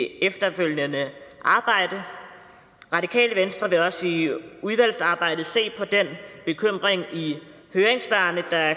efterfølgende arbejde radikale venstre vil også i udvalgsarbejdet se på den bekymring i høringssvarene der